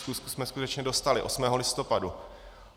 Schůzku jsme skutečně dostali 8. listopadu.